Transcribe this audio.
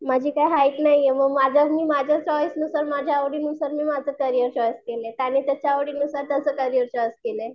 माझी काही हाईट नाहीये म माझ्या मी माझ्या चॉईस नुसार माझ्या आवडीनुसार मी माझं करियर चॉईस केले. त्याने त्याच्या आवडीनुसार त्याचे करियर चॉईस केलंय.